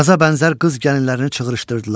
Qaza bənzər qız gəlinlərini çığrışdırdılar.